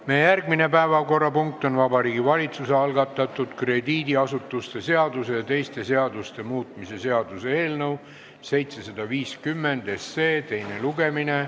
Meie järgmine päevakorrapunkt on Vabariigi Valitsuse algatatud krediidiasutuste seaduse ja teiste seaduste muutmise seaduse eelnõu teine lugemine.